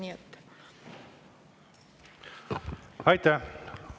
Aitäh!